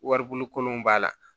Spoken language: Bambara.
Waribon kolonw b'a la